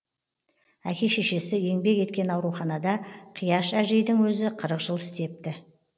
әке шешесі еңбек еткен ауруханада қияш әжейдің өзі қырық жыл істепті